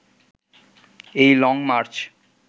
এই লংমার্চ